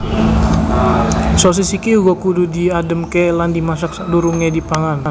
Sosis iki uga kudu diadhemke lan dimasak sakdurunge dipangan